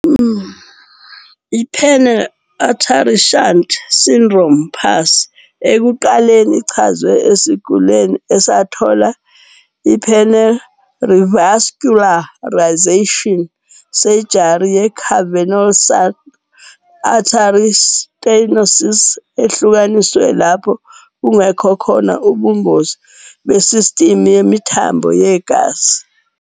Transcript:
IPenile Artery Shunt Syndrome, PASS, ekuqaleni ichazwe esigulini esathola iPenile Revascularization Surgery ye-cavernosal artery stenosis ehlukanisiwe lapho kungekho khona ubungozi besistimu yemithambo yegazi.